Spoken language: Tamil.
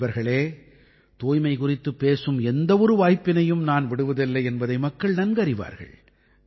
நண்பர்களே தூய்மை குறித்துப் பேசும் எந்த ஒரு வாய்ப்பினையும் நான் விடுவதில்லை என்பதை மக்கள் அறிவார்கள்